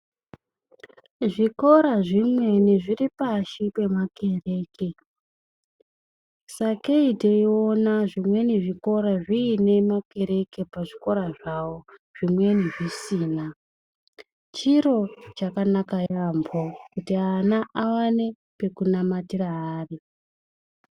Zvikora zvimweni zviripashi pemakereke. Sakei teiona zvimweni zvikora zviine makereke pazvikora zvawo, zvimweni zvisina. Chiro chakanaka yaambho kuti ana awane pekunamatira ari.